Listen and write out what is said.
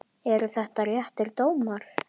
Eru þetta réttir dómar?